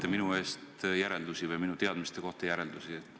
See on tore, et te teete minu teadmiste kohta järeldusi.